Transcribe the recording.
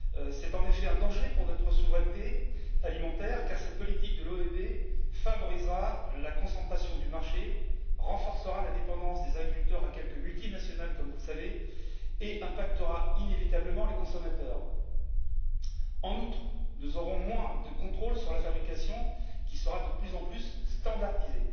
C'est en effet un danger pour notre souveraineté alimentaire car cette politique de l'OEB favorisera la concentration du marché, renforcera la dépendance des agriculteurs à l'égard de quelques multinationales comme vous le savez et aura inévitablement des conséquences sur les consommateurs. En outre, nous aurons moins de contrôle sur la fabrication, qui sera de plus en plus standardisée.